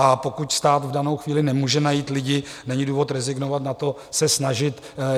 A pokud stát v danou chvíli nemůže najít lidi, není důvod rezignovat na to, se snažit.